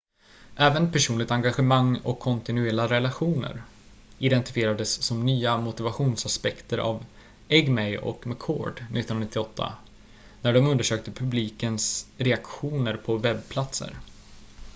"även "personligt engagemang" och "kontinuerliga relationer" identifierades som nya motivationsaspekter av eighmey och mccord 1998 när de undersökte publikens reaktioner på webbplatser.